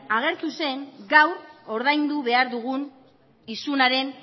agertu zen gaur ordaindu behar dugun isunaren